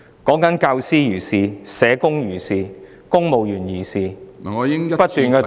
不論是教師、社工或是公務員，都不斷遭到打壓......